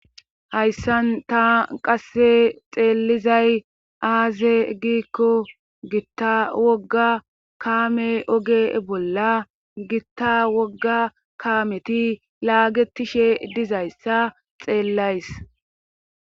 hayssan ta qasse xeelizay aaze giikko gitta wogga kaame oge bolla gitta wogga kaameti laagetishe dizayssa xeellays